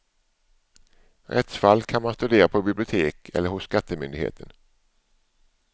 Rättsfall kan man studera på bibliotek eller hos skattemyndigheten.